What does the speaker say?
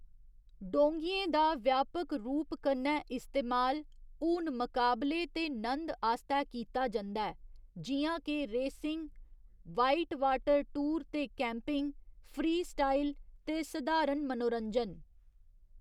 डोंगियें दा व्यापक रूप कन्नै इस्तेमाल हून मुकाबले ते नंद आस्तै कीता जंदा ऐ, जि'यां के रेसिंग, वाइटवाटर टूर ते कैम्पिंग, फ्रीस्टाइल ते सधारण मनोरंजन।